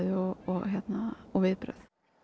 og og viðbrögð